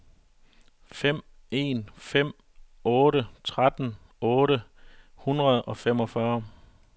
fem en fem otte tretten otte hundrede og femogfyrre